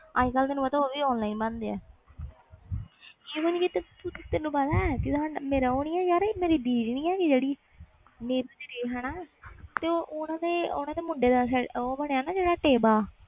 ਅੱਜ ਕੱਲ ਉਹ ਵੀ online ਬਣਦੇ ਮੇਰੀ ਦੀਦੀ ਨਹੀਂ ਹੈ ਗਈ ਜਿਹੜੀ ਓਹਨੇ ਦੇ ਮੁੰਡੇ ਦਾ ਟੇਵਾ ਬਣਿਆ